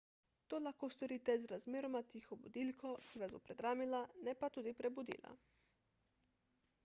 to lahko storite z razmeroma tiho budilko ki vas bo predramila ne pa tudi prebudila